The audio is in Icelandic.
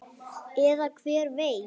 Eða hver veit?